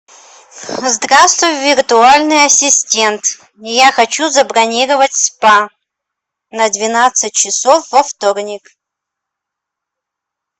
здравствуй виртуальный ассистент я хочу забронировать спа на двенадцать часов во вторник